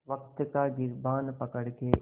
वक़्त का गिरबान पकड़ के